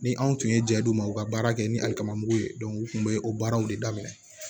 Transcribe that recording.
Ni anw tun ye jaa d'u ma u ka baara kɛ ni ali kamugu ye u kun bɛ o baaraw de daminɛ